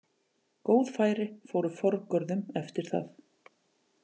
Góð færi fóru forgörðum eftir það.